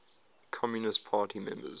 communist party members